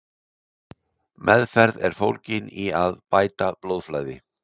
Meðferð er fólgin í að bæta blóðflæði.